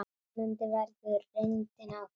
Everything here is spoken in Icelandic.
Vonandi verður það reyndin áfram.